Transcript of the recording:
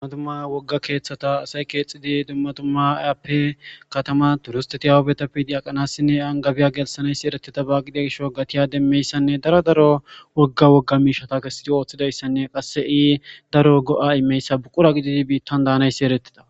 Dumma dumma wogga keeththata asay keexxidi dumma dumma aappe katama turisteti awubetappe yiidi aqanassinne angabiya gelsanayssi ereteta baa gidiya gishaw gatiya demmeyssanne daro daro wogga wogga miishshata kesidi ooththidayssanne qasse ii daro go'a immiyayssa buqura gididi biittan daanayssi eretida.